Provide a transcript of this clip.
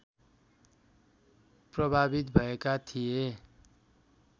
प्रभावित भएका थिए